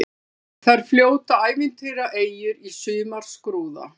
Þar fljóta ævintýraeyjur í sumarskrúða.